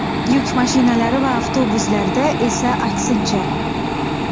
Yuk mashinalari va avtobuslarda esa aksincha.